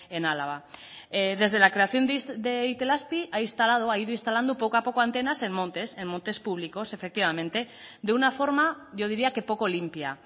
en álava desde la creación de itelazpi ha instalado ha ido instalando poco a poco antenas en montes en montes públicos efectivamente de una forma yo diría que poco limpia